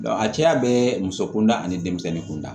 a cɛya bɛ muso kunda ani denmisɛnnin kunda